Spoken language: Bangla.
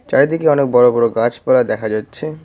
চারিদিকে অনেক বড় বড় গাছপালা দেখা যাচ্ছে।